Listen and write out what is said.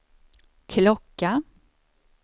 klocka